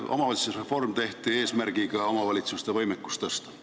Omavalitsusreform tehti eesmärgiga omavalitsuste võimekust tõsta.